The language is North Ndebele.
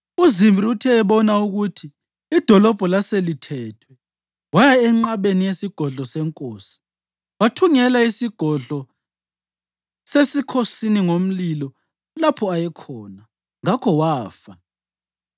UZimri uthe ebona ukuthi idolobho laselithethwe, waya enqabeni yesigodlo senkosi wathungela isigodlo sesikhosini ngomlilo lapho ayekhona. Ngakho wafa,